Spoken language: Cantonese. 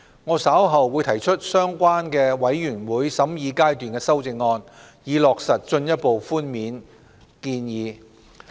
我稍後會提出相關的全體委員會審議階段修正案，以落實進一步寬免建議。